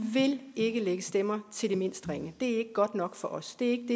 ikke godt nok for os det